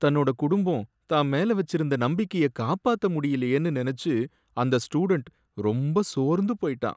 தன்னோட குடும்பம் தான் மேல வச்சிருந்த நம்பிக்கைய காப்பாத்த முடியலயேனு நனைச்சு அந்த ஸ்டூடண்ட் ரொம்ப சோர்ந்து போயிட்டான்.